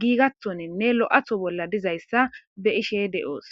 giigathonenne lo'atho bolla dizayssa be ishe de'oos.